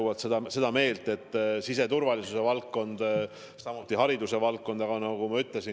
Ma olen seda meelt, et siseturvalisuse ja haridusvaldkond on tähtsad.